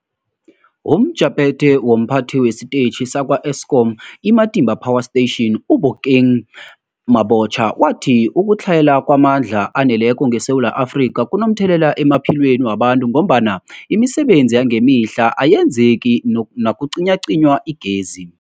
UmJaphethe womPhathi wesiTetjhi sakwa-Eskom i-Matimba Power Station u-Obakeng Mabotja wathi ukutlhayela kwamandla aneleko ngeSewula Afrika kunomthelela emaphilweni wabantu ngombana imisebenzi yangemihla ayenzeki nakucinywacinywa igezi.